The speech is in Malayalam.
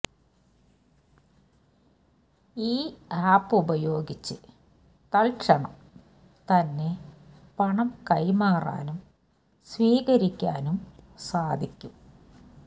ഈ ആപ്പ് ഉപയോഗിച്ച് തത്ക്ഷണം തന്നെ പണം കൈമാറാനും സ്വീകരിക്കാനും സാധിക്കും